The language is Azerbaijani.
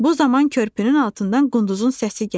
Bu zaman körpünün altından qunduzun səsi gəldi.